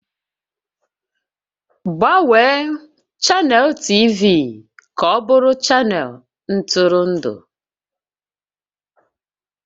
Gbanwee chanel TV ka ọ bụrụ chanel ntụrụndụ!